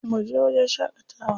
Mu je wajen shaƙatawa.